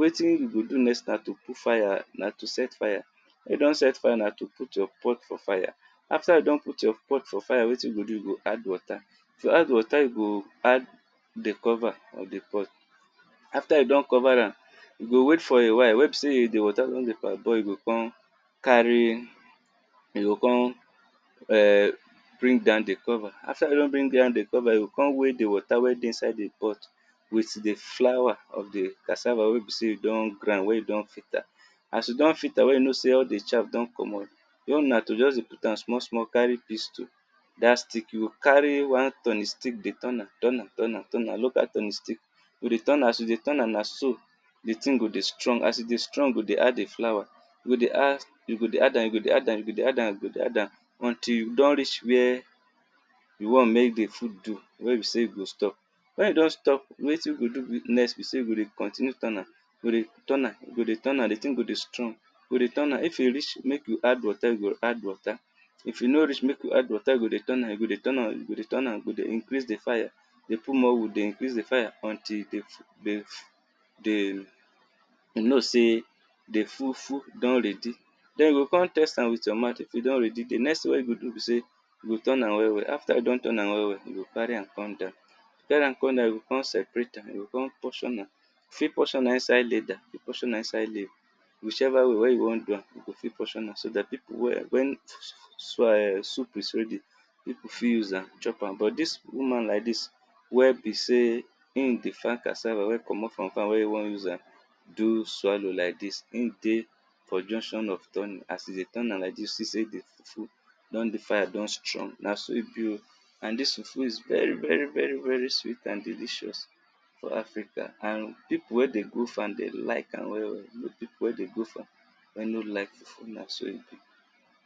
wetin you go do next na to put fire na to set fire, wen you don set fire, na to put your pot for fire, after you don put your pot for fire wetin you go do, you go add water, if you don add water you go add di cover of id pot, after you don cover am, you go wait for a while wen be sey di water don per boil you go come carry [urn] you go come bring down di cover, after you don bring down di cover, you go come weigh di water wey dey inside di pot with di flour of di cassava wey be sey you don grind wen you don filter, ass you don filter wen you don know so all di chaff don komot you own na to dey put am small small carry pistle, dat stick you go carry one turning stick dey turn am, turn am, turn am, turn am look at turning stick, you go dey turn am, as you dey turn am na so di thing go dey strong, as e dey strong you go dey add di flour, you go dey add, you go dey add am, you go dey add am, you go dey add am. Until you don reach where you want make di food do wen you go stop, wen you don stop wetin be sey you go dey do next be sey you go dey continue turn am, you go dey turn am, you go dey turn am, di thing go dey strong, you go dey turn am, if e reach make you add water you go add water, if e no reach make you add water, you go dey turn am, you go dey turn am, you go dey turn am, you go dey increase di fire, dey put more wood, dey increase di fire, until di di di you know sey di fufu don ready. Den you go come test am with your mouth, if e don ready di next thing wen you go do be sey, you go turn am well well, after you don turn am well well, you go carry am come down, carry am come down, you go come separate, you go come portion am, you fit portion am inside leather, you portion am inside leave, whichever way wen you wan do am, you fit portion am so dat people wen, wen swa [urn] soup is ready people fit use am chop am, but dis woman like dis wen be sey in dey farm cassava wen wan use am do swallow like dis, in dey for junction of turning, as e dey turn am like dis you see sey di fufu don dey fire, don strong na so e be oh, and dis fufu is very very very very sweet and delicious for Africa and people wey dey go farm dem like am well well, no peope wey dey go farm wen no like fufu na so e be.